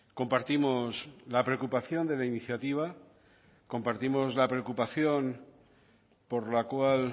compartimos la preocupación de la iniciativa compartimos la preocupación por la cual